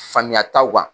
Faamuya taw kan